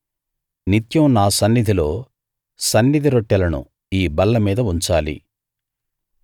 నిత్యం నా సన్నిధిలో సన్నిధి రొట్టెలను ఈ బల్ల మీద ఉంచాలి